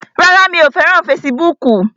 Rárá, mi ò fẹ́ràn fesibúùkù